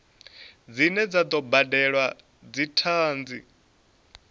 dzine dza do badelwa dzithanzi